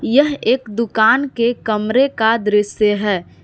यह एक दुकान के कमरे का दृश्य है।